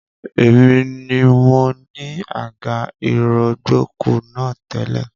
Èmi ni mo ni àga ìrọ̀gbọ̀kú náà tẹ́lẹ̀